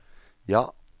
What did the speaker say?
ja